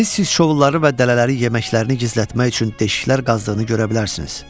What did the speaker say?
Siz siz şovları və dələləri yeməklərini gizlətmək üçün deşiklər qazdığını görə bilərsiniz.